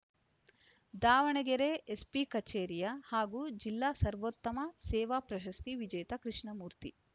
Davanagere SP ಕಚೇರಿಯ ಹಾಗೂ ಜಿಲ್ಲಾ ಸರ್ವೋತ್ತಮ ಸೇವಾ ಪ್ರಶಸ್ತಿ ವಿಜೇತ ಕೃಷ್ಣಮೂರ್ತಿ